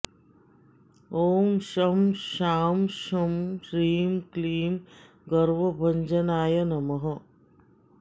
ॐ शं शां षं ह्रीं क्लीं गर्वभञ्जनाय नमः